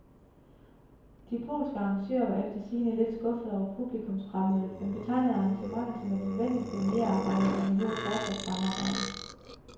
De polske arrangører var efter sigende lidt skuffede over publikumsfremmødet, men betegnede arrangementet som et nødvendigt pionerarbejde, der behøver fortsat samarbejde.